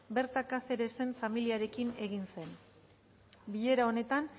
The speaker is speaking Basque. berta cáceresen familiarekin egin zen bilera honetan